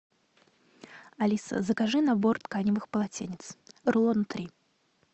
алиса закажи набор тканевых полотенец рулона три